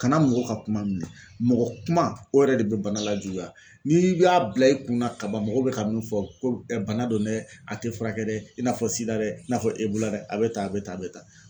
Kana mɔgɔw ka kuma minɛ. Mɔgɔ kuma o yɛrɛ de bɛ bana lajuguya. N'i y'a bila i kun na kaban mɔgɔw bɛ ka min fɔ ko bana don dɛ a te furakɛ dɛ i n'a fɔ SIDA dɛ i n'a fɔ Ebola a be tan a be tan a be tan.